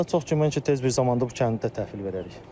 İnşallah çox güman ki, tez bir zamanda bu kəndi də təhvil verərik.